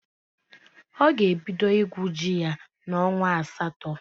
Ọ ga-ebido igwu ji ya n'onwa asatọ.